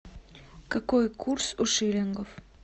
какой курс у шиллингов